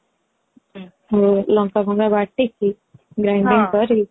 ଲଙ୍କା ଫଙ୍କା ବାଟି କି grinding କରି କି